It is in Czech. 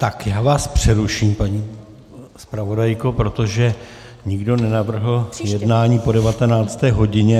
Tak já vás přeruším, paní zpravodajko, protože nikdo nenavrhl jednání po 19. hodině.